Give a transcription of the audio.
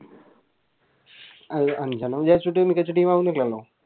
അഹ് അഞ്ചെണ്ണം വിചാരിച്ചിട്ട് മികച്ച Team ആവുന്നില്ലല്ലോ